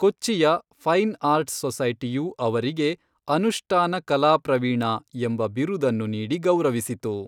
ಕೊಚ್ಚಿಯ fine arts ಸೊಸೈಟಿಯು ಅವರಿಗೆ 'ಅನುಷ್ಟಾನಕಲಾಪ್ರವೀಣ' ಎಂಬ ಬಿರುದನ್ನು ನೀಡಿ ಗೌರವಿಸಿತು.